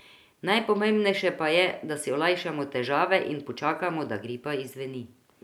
Najpomembnejše pa je, da si olajšamo težave in počakamo, da gripa izzveni.